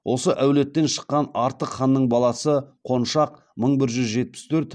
осы әулеттен шыққан артық ханның баласы қоншақ мың бір жүз жетпіс төрт